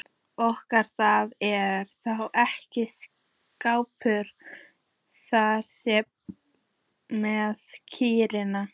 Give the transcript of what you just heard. Og það er þá ekkert skárra þar með kýrnar?